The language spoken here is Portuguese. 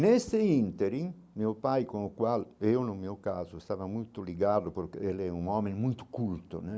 Neste ínterim, meu pai, com o qual eu, no meu caso, estava muito ligado, porque ele é um homem muito culto, né?